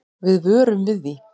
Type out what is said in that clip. Við vörum við því.